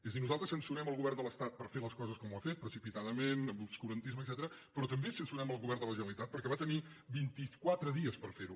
és a dir nosaltres censurem el govern de l’estat per fer les coses com les ha fet precipitadament amb obscurantisme etcètera però també censurem el govern de la generalitat perquè va tenir vint i quatre dies per fer ho